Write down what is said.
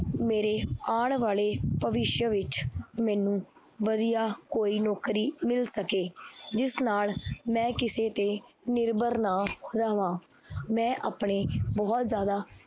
ਮੇਰੇ ਆਉਣ ਵਾਲੇ ਭਵਿੱਖ ਵਿੱਚ ਮੈਨੂੰ ਵਧੀਆ ਕੋਈ ਨੌਕਰੀ ਮਿਲ ਸਕੇ, ਜਿਸ ਨਾਲ ਮੈਂ ਕਿਸੇ ਤੇ ਨਿਰਭਰ ਨਾ ਰਵਾਂ ਮੈਂ ਆਪਣੇ ਬਹੁਤ ਜ਼ਿਆਦਾ